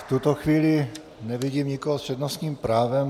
V tuto chvíli nevidím nikoho s přednostním právem.